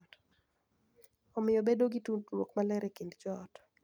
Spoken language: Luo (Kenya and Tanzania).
Omiyo bedo gi tudruok maler e kind joot.